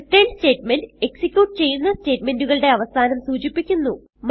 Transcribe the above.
return statement execute ചെയ്യുന്ന സ്റ്റേറ്റ്മെന്റുകളുടെ അവസാനം സൂചിപ്പിക്കുന്നു